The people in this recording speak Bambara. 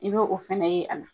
I be o fɛnɛ ye a la.